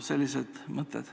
Sellised mõtted.